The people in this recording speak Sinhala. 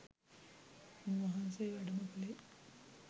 උන් වහන්සේ වැඩම කලේ